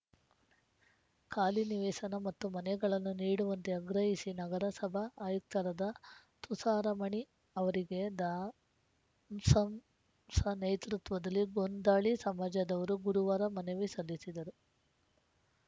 ಖಾಲಿ ನಿವೇಸನ ಮತ್ತು ಮನೆಗಳನ್ನು ನೀಡುವಂತೆ ಆಗ್ರಹಿಸಿ ನಗರಸಭಾ ಆಯುಕ್ತರಾದ ತುಷಾರಮಣಿ ಅವರಿಗೆ ದ ಸಂ ಶ ನೇತೃತ್ವದಲ್ಲಿ ಗೋಂದಾಳಿ ಸಮಾಜದವರು ಗುರುವಾರ ಮನವಿ ಸಲ್ಲಿಸಿದರು